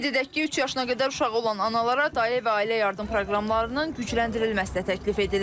Qeyd edək ki, üç yaşına qədər uşağı olan analara dayə və ailə yardım proqramlarının gücləndirilməsi də təklif edilir.